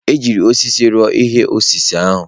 E ji osisi rụọ ihe osise ahụ.